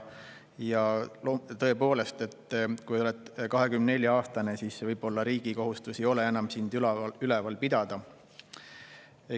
Ja tõepoolest, kui oled 24-aastane, siis riigil ei peaks enam olema kohustust sind üleval pidada.